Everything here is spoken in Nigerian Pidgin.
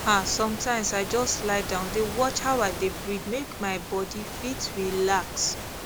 ah sometimes i just lie down dey watch how i dey breathe make my body fit relax